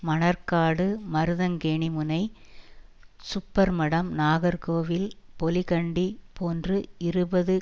மணற்காடு மருதங்கேணி முனை சுப்பர்மடம் நாகர்கோவில் பொலிகண்டி போன்று இருபது